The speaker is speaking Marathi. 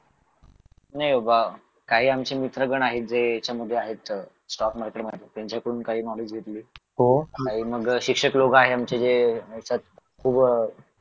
नाही बाबा काही आमचे मित्र गण आहेत जे ह्याच्यामध्ये आहेत स्टॉक मार्केटमध्ये त्यांच्याकडून काही नॉलेज घेतले काही मग शिक्षक लोक आहे आमचे जे त्याच्यात खूप अह